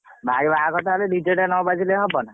ଭାଇ ବାହାଘର ଟା ଡିଜେ ଟା ନା ବାଜିଲେ କଣ ହବ ନା।